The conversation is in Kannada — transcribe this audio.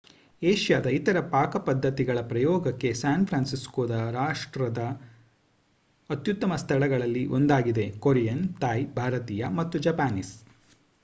ಏಷ್ಯಾದ ಇತರ ಪಾಕಪದ್ಧತಿಗಳ ಪ್ರಯೋಗಕ್ಕೆ ಸ್ಯಾನ್ ಫ್ರಾನ್ಸಿಸ್ಕೊ ರಾಷ್ಟ್ರದ ಅತ್ಯುತ್ತಮ ಸ್ಥಳಗಳಲ್ಲಿ ಒಂದಾಗಿದೆ ಕೊರಿಯನ್ ಥಾಯ್ ಭಾರತೀಯ ಮತ್ತು ಜಪಾನೀಸ್